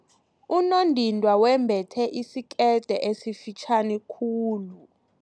Unondindwa wembethe isikete esifitjhani khulu.